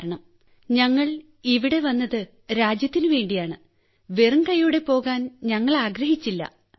കാരണം ഞങ്ങൾ ഇവിടെ വന്നത് രാജ്യത്തിന് വേണ്ടിയാണ് വെറുംകൈയ്യോടെ പോകാൻ ഞങ്ങൾ ആഗ്രഹിച്ചില്ല